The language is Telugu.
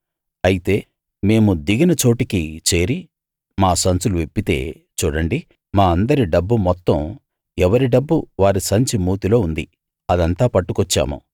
అయితే మేము దిగిన చోటికి చేరి మా సంచులు విప్పితే చూడండి మా అందరి డబ్బు మొత్తం ఎవరి డబ్బు వారి సంచి మూతిలో ఉంది అదంతా పట్టుకొచ్చాము